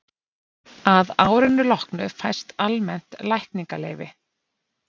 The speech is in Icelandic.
Að árinu loknu fæst almennt lækningaleyfi.